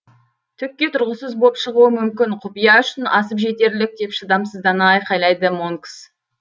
түкке тұрғысыз боп шығуы мүмкін құпия үшін асып жетерлік деп шыдамсыздана айқайлады монкс